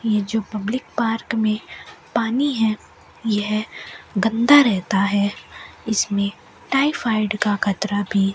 यह जो public park में पानी है यह गंदा रहता है इसमें टायफायड का खतरा भी--